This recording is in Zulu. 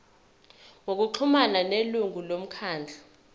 ngokuxhumana nelungu lomkhandlu